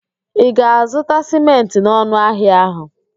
Ị ga-azụta sịmentị n'ọnụ ahịa ahụ?